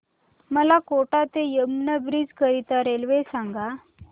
मला कोटा ते यमुना ब्रिज करीता रेल्वे सांगा